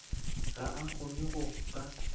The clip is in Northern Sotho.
ga a kgone go ka